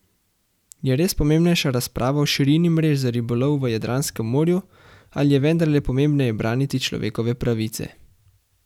Je res pomembnejša razprava o širini mrež za ribolov v Jadranskem morju ali je vendarle pomembneje braniti človekove pravice?